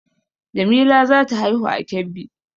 Jamila za ta haihu a Kebbi